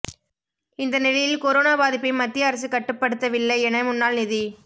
இந்த நிலையில் கொரோனா பாதிப்பை மத்திய அரசு கட்டுப்படுத்தவில்லை என முன்னாள் நிதி